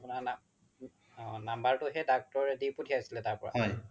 অ number তো হে doctor ৰে দি পথিয়াইছিলে তাৰ পৰা